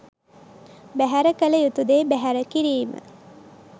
බැහැර කළ යුතු දේ බැහැර කිරීම